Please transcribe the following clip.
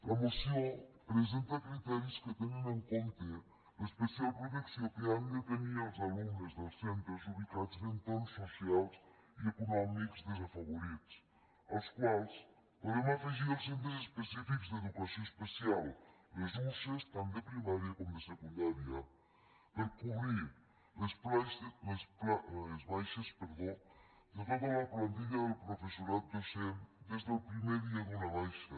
la moció presenta criteris que tenen en compte l’es·pecial protecció que han de tenir els alumnes dels centres ubicats en entorns socials i econòmics desa·favorits als quals podem afegir els centres específics d’educació especial les usee tant de primària com de secundària per cobrir les baixes de tota la plantilla del professorat docent des del primer dia d’una baixa